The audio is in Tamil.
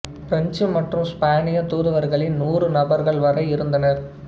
பிரெஞ்சு மற்றும் ஸ்பானிய தூதுவர்களின் நூறு நபர்கள் வரை இருந்தனர்